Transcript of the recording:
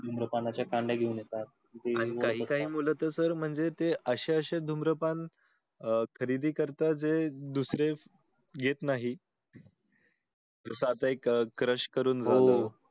धूम्रपानाच्या कांड्या घेऊन येतात आणि काही काही मूल तर sir म्हणजे ते अशे अशे धूम्रपान खरीदी करतात जे दुसरे घेत नाही. तस आता एक crush करून. हो हो